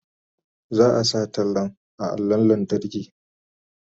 Za a sa tallan a allon lantarki.